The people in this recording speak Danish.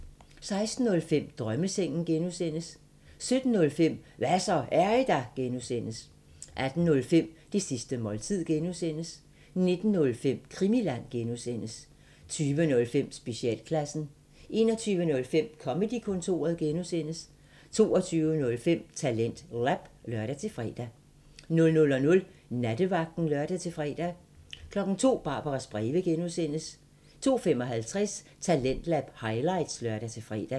16:05: Drømmesengen (G) 17:05: Hva' så, er I der? (G) 18:05: Det sidste måltid (G) 19:05: Krimiland (G) 20:05: Specialklassen 21:05: Comedy-kontoret (G) 22:05: TalentLab (lør-fre) 00:00: Nattevagten (lør-fre) 02:00: Barbaras breve (G) 02:55: Talentlab highlights (lør-fre)